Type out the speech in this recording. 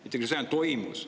Integratsioon on toimunud.